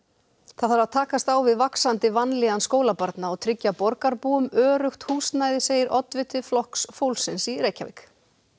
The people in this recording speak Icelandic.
það þarf að takast á við vaxandi vanlíðan skólabarna og tryggja borgarbúum öruggt húsnæði segir oddviti Flokks fólksins í Reykjavík